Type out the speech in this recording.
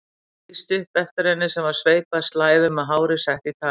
Það lýsti upp eftir henni sem var sveipuð slæðum með hárið sett í tagl.